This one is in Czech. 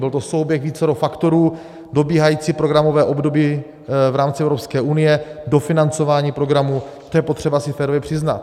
Byl to souběh vícero faktorů, dobíhající programové období v rámci Evropské unie, dofinancování programů, to je potřeba si férově přiznat.